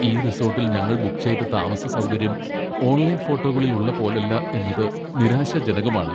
ഈ റിസോട്ടിൽ ഞങ്ങൾ ബുക്ക് ചെയ്ത താമസസൗകര്യം ഓൺലൈൻ ഫോട്ടോകളിൽ ഉള്ള പോലല്ല എന്നത് നിരാശാജനകമാണ്.